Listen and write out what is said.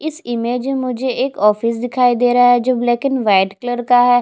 इस इमेज में मुझे एक ऑफिस दिखाई दे रह है जो लैक एंड वाइट कलर का है।